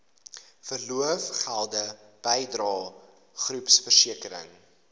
verlofgelde bydrae groepversekering